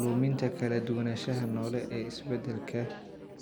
Luminta kala duwanaanshaha noole ee isbeddelka